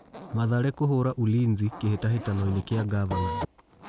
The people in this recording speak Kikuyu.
Mathare kũhũra Ulinzi Kĩ hĩ tahĩ tanoinĩ gĩ a Ngavana